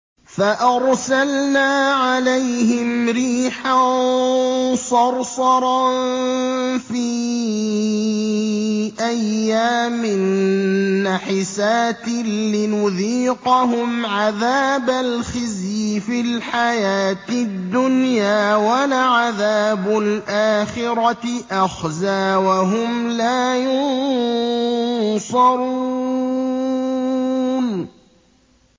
فَأَرْسَلْنَا عَلَيْهِمْ رِيحًا صَرْصَرًا فِي أَيَّامٍ نَّحِسَاتٍ لِّنُذِيقَهُمْ عَذَابَ الْخِزْيِ فِي الْحَيَاةِ الدُّنْيَا ۖ وَلَعَذَابُ الْآخِرَةِ أَخْزَىٰ ۖ وَهُمْ لَا يُنصَرُونَ